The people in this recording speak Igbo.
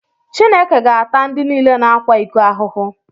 Chineke ga-ata ndị niile na-akwa iko ahụhụ.